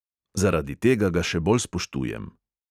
Zaradi tega ga še bolj spoštujem.